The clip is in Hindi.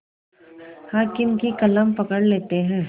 हाकिम की कलम पकड़ लेते हैं